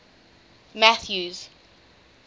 mathews